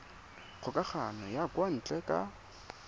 kgokagano ya kwa ntle ka